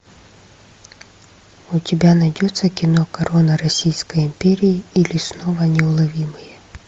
у тебя найдется кино корона российской империи или снова неуловимые